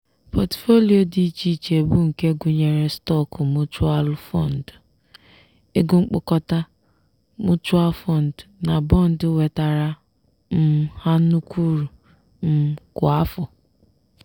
pọtụfoliyo dị iche iche bụ nke gụnyere stọọkụ muchualụ fọndụ/ego mkpokọta (mutual fund) na bọndị wetaara um ha nnukwu uru um kwa afọ.